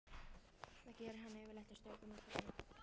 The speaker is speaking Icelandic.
Það gerir hann yfirleitt og strýkur mér um kollinn.